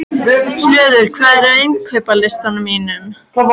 Hlöður, hvað er á innkaupalistanum mínum?